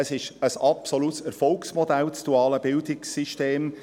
Es ist also ein absolutes Erfolgsmodell, das duale Bildungssystem.